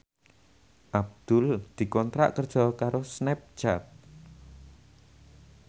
Abdul dikontrak kerja karo Snapchat